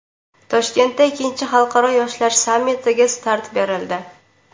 Toshkentda ikkinchi xalqaro yoshlar sammitiga start berildi.